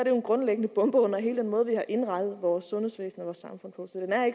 jo en grundlæggende bombe under hele den måde vi har indrettet vores sundhedsvæsen og vores samfund på